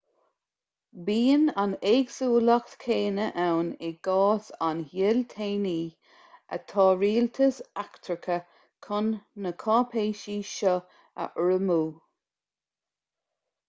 bíonn an éagsúlacht chéanna ann i gcás a thoilteanaí atá rialtais eachtracha chun na cáipéisí seo a urramú